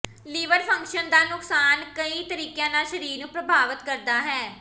liver function ਦਾ ਨੁਕਸਾਨ ਕਈ ਤਰੀਕਿਆਂ ਨਾਲ ਸਰੀਰ ਨੂੰ ਪ੍ਰਭਾਵਤ ਕਰਦਾ ਹੈ